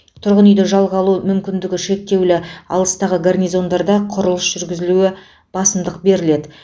тұрғын үйді жалға алу мүмкіндігі шектеулі алыстағы гарнизондарда құрылыс жүргізуілі басымдық беріледі